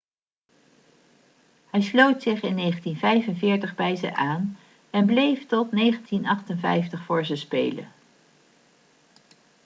hij sloot zich in 1945 bij ze aan en bleef tot 1958 voor ze spelen